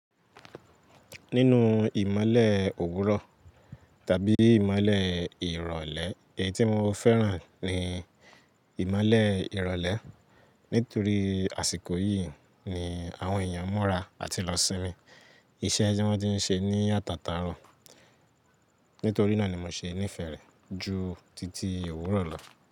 Nínú ìmọ́lẹ̀ òwúrọ̀ tàbí ìmọ́lẹ̀ ìrọ̀lẹ́, èyí tí mo fẹ́ràn ni ìmọ́lẹ̀ ìrọ̀lẹ́. Nítorí àsìkò yìí ni àwọn èèyàn múra àti lọ sinmi. Iṣẹ́ tí wọ́n ti ń ṣe ní àtàtà ro. Nítorí náà ni mo ṣe nìfẹ́ rẹ̀ ju títí òwúrọ̀ lọ.